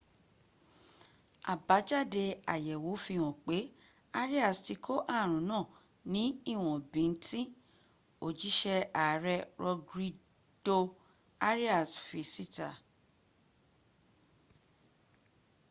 àbájádẹ àyèwò fihàn pé arias ti kó aàrùn náà ní íwọn bíntín òjísé ààrẹ rodrigo arias fi síta